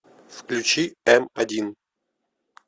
включи эм один